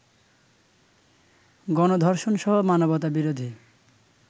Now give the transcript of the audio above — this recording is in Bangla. গণধর্ষণ সহ মানবতাবিরোধী